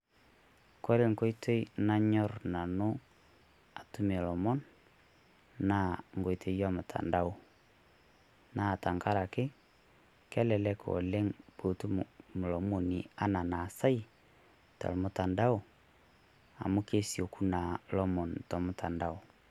Kore enkoitoi nanyorr Nanu atumie ilomon naa enkoitoi ormutandao naa tengaraki, kelelek oleng' enaa piitum olomoni tenkoitoi ormutandao enaa enaasau amu kesieku naa lomoni tormutandao.